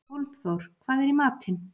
Hólmþór, hvað er í matinn?